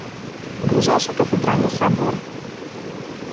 ближайший кафедральный собор